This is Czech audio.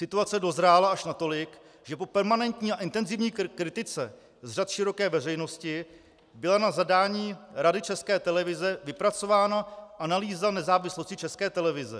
Situace dozrála až natolik, že po permanentní a intenzivní kritice z řad široké veřejnosti byla na zadání Rady České televize vypracována analýza nezávislosti České televize.